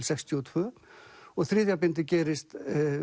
sextíu og tvö og þriðja bindið gerist